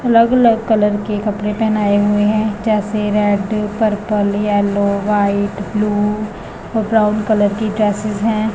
अलग अलग कलर के कपड़े पेहनाये हुए हैं जैसे red purple yellow white blue और ब्राउन कलर की ड्रेससेस है।